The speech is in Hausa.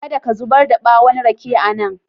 Kada ka zubar da ɓwon rake a nan.